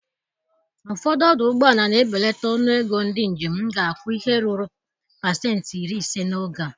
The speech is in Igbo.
Ụfọdụ ọdụ ụgbọala na-ebelata ọnụ ego ndị njem ga-akwụ ihe ruru pasenti iri ise n'oge a.